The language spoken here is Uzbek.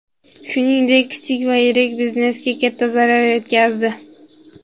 shuningdek kichik va yirik biznesga katta zarar yetkazdi.